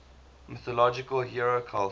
mythological hero cult